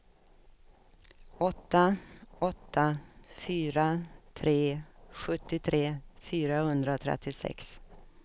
åtta åtta fyra tre sjuttiotre fyrahundratrettiosex